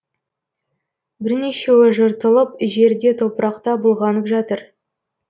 бірнешеуі жыртылып жерде топырақта былғанып жатыр